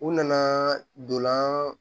U nana donlan